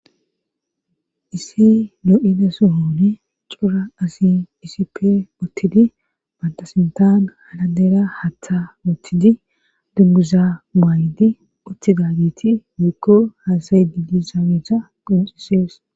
Issi lo7ida suhoone cura asi isipe uttidi bantasintaan haladeera hatha oothidi dunguza maaydi uttidagiti wiikko haasay di di saaweeta qunxisees